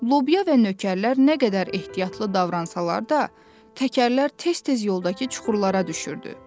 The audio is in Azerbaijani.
Lobya və nökərlər nə qədər ehtiyatlı davransalar da, təkərlər tez-tez yoldakı çuxurlara düşürdü.